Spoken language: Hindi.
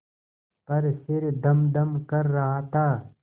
पर सिर धमधम कर रहा था